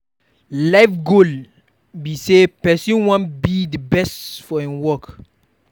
life goal fit be sey person wan be di best for im work